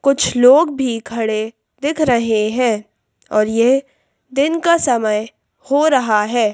कुछ लोग भी खड़े दिख रहे हैं और ये दिन का समय हो रहा है।